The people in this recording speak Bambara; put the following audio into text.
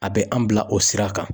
A bɛ an bila o sira kan.